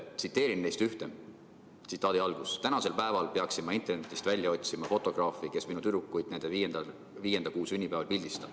Tsiteerin neist ühte: "Tänasel päeval peaksin ma internetist välja otsima fotograafi, kes minu tüdrukuid nende viienda kuu sünnipäeval pildistab.